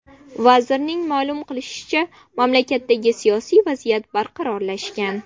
Vazirning ma’lum qilishicha, mamlakatdagi siyosiy vaziyat barqarorlashgan.